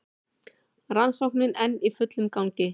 Rannsóknin enn í fullum gangi